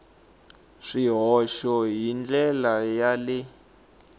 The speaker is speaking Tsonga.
swihoxo hi ndlela ya le